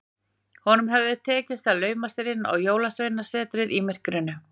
Honum hafði tekist að lauma sér inn á Jólasveinasetrið í myrkrinu.